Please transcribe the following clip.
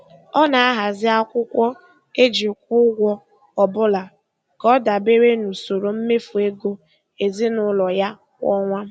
Ọ na-ahazi akwụkwọ e ji kwụọ ụgwọ ọbụla ka ọ dabere n'usoro mmefu ego ezinụụlọ ya kwa ọnwa.